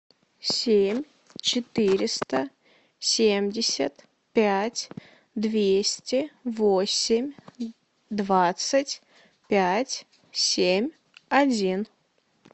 семь четыреста семьдесят пять двести восемь двадцать пять семь один